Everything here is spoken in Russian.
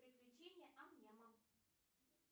приключения ам няма